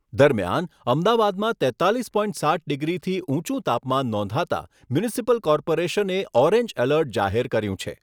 દરમિયાન અમદાવાદમાં તેત્તાલીસ પોઇન્ટ સાત, ડિગ્રીથી ઊંચું તાપમાન નોંધાતાં મ્યુનિસિપલ કોર્પોરેશને ઓરેન્જ એલર્ટ જાહેર કર્યું છે.